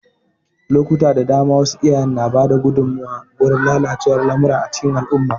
Lokuta da dama, wasu iyaye na ba da gudunmawa gurin lalacewar lamura a cikin al'umma.